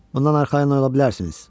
Ondan arxayın ola bilərsiniz.